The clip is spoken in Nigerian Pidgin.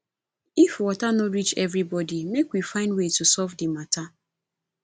if water no reach everybody make we find way to solve the matter